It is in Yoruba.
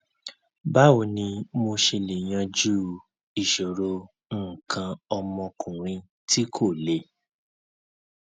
báwo ni mo ṣe lè yanjú ìṣòro nǹkan ọmọkùnrin tí kò le